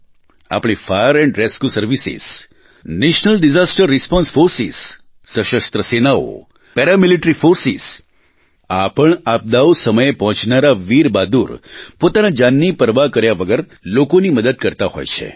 આપણી fire and rescue services national disaster response forces સશસ્ત્ર સેનાઓ પેરામિલીટરી ફોર્સિસ આ પણ આપદાઓ સમયે પહોંચનારા વીર બહાદુર પોતાની જાનની પરવાહ કર્યા વગર લોકોની મદદ કરતા હોય છે